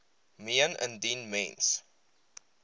meen indien mens